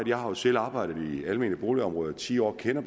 jeg har jo selv arbejdet inden almene boligområde i ti år og kender